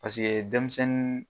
Paseke denmisɛnnin